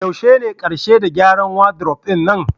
Yaushe ne karshe da gyara wadiruf ɗin nan?